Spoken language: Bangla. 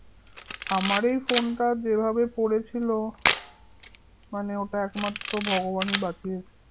আমার এই phone টা ভাবে পড়েছিল মানে ওটা একমাত্র ভগবানই বাঁচিয়েছে